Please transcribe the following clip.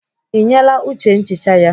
Ị nyeela Uche nchicha ya?